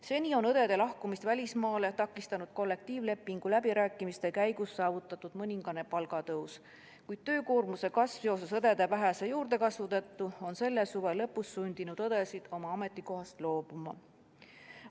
Seni on õdede lahkumist välismaale takistanud kollektiivlepingu läbirääkimiste käigus saavutatud mõningane palgatõus, kuid töökoormuse kasv õdede vähese juurdekasvu tõttu on selle suve lõpus sundinud õdesid oma ametikohast loobuma.